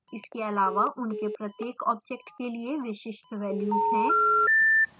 इसके अलावा उनके प्रत्येक object के लिए विशिष्ट values हैं